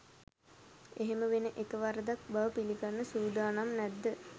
එහෙම වෙන එක වරදක් බව පිළිගන්න සූදානම් නැද්ද?